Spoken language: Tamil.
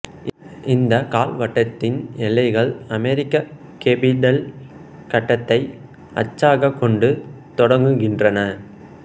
இந்த கால்வட்டத்தின் எல்லைகள் அமெரிக்க கேபிடல் கட்டடத்தை அச்சாக கொண்டு தொடங்குகின்றன